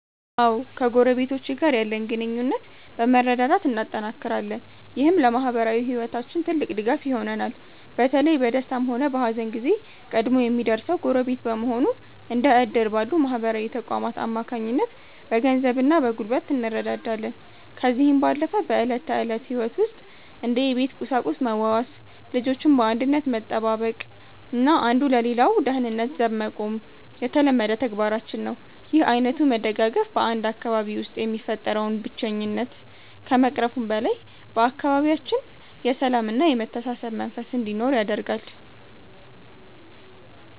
አዎ ከጎረቤቶቼ ጋር ያለን ግንኙነት በመረዳዳት እናጠናክራለን። ይህም ለማኅበራዊ ሕይወታችን ትልቅ ድጋፍ ይሆነናል። በተለይ በደስታም ሆነ በሐዘን ጊዜ ቀድሞ የሚደርሰው ጎረቤት በመሆኑ፤ እንደ ዕድር ባሉ ማኅበራዊ ተቋማት አማካኝነት በገንዘብና በጉልበት እንረዳዳለን። ከዚህም ባለፈ በዕለት ተዕለት ሕይወት ውስጥ እንደ የቤት ቁሳቁስ መዋዋስ፤ ልጆችን በአንድነት መጠባበቅና አንዱ ለሌላው ደህንነት ዘብ መቆም የተለመደ ተግባራችን ነው። ይህ ዓይነቱ መደጋገፍ በ 1 አካባቢ ውስጥ የሚፈጠረውን ብቸኝነት ከመቅረፉም በላይ፤ በአካባቢያችን የሰላምና የመተሳሰብ መንፈስ እንዲኖር ያደርጋል።